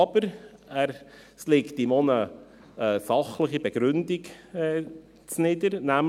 Aber dem liegt auch eine fachliche Begründung zugrunde.